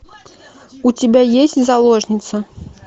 у тебя есть заложница